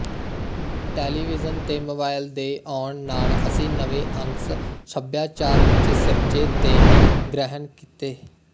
television ਤੇ mobile ਦੇ ਆਉਣ ਨਾਲ ਅਸੀਂ ਨਵੇਂ ਅੰਸ਼ ਸੱਭਿਆਚਾਰ ਵਿੱਚ ਸਿਰਜੇ ਤੇ ਗ੍ਹਹਿਣ ਕੀਤੇ